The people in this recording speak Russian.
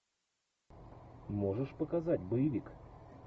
можешь показать боевик